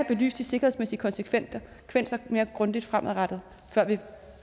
belyst de sikkerhedsmæssige konsekvenser mere grundigt fremadrettet før vi